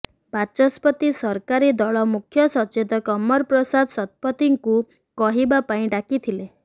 ବାଚସ୍ପତି ସରକାରୀ ଦଳ ମୁଖ୍ୟ ସଚେତକ ଅମର ପ୍ରସାଦ ଶତପଥୀଙ୍କୁ କହିବା ପାଇଁ ଡାକିଥିଲେ